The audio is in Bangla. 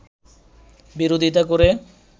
বিরোধিতা করে